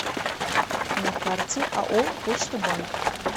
на карте ао почта банк